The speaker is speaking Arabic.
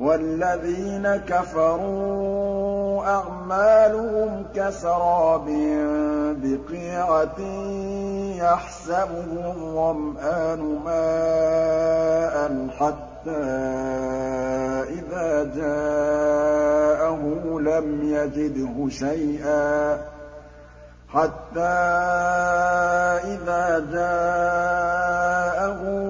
وَالَّذِينَ كَفَرُوا أَعْمَالُهُمْ كَسَرَابٍ بِقِيعَةٍ يَحْسَبُهُ الظَّمْآنُ مَاءً حَتَّىٰ إِذَا جَاءَهُ